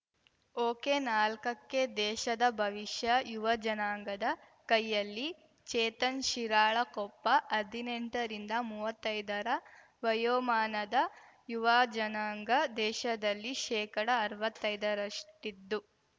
ಒಕೆನಾಲ್ಕಕ್ಕೆದೇಶದ ಭವಿಷ್ಯ ಯುವಜನಾಂಗದ ಕೈಯಲ್ಲಿ ಚೇತನ್‌ ಶಿರಾಳಕೊಪ್ಪ ಹದಿನೆಂಟ ರಿಂದ ಮುವ್ವತ್ತೈದರ ವಯೋಮಾನದ ಯುವಜನಾಂಗ ದೇಶದಲ್ಲಿ ಶೇಕಡಅರ್ವತ್ತೈದರಷ್ಟಿದ್ದು